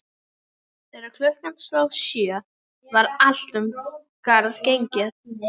Þegar klukkan sló sjö var allt um garð gengið.